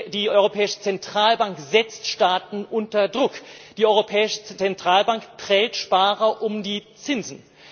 Die Europäische Zentralbank setzt Staaten unter Druck, die Europäische Zentralbank prellt Sparer um die Zinsen!